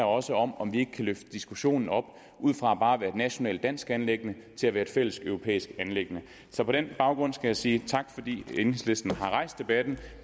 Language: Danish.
også om om vi ikke kan løfte diskussionen op fra bare at være et nationalt dansk anliggende til at være et fælles europæisk anliggende så på den baggrund skal jeg sige tak fordi enhedslisten har rejst debatten